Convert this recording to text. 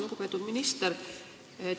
Lugupeetud minister!